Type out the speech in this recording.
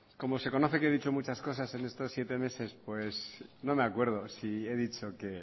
como se conoce que he dicho muchas cosas en estos siete meses pues no me acuerdo si he dicho que